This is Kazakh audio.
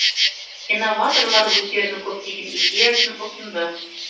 инноваторлар өздерінің көптеген идеясын ұсынды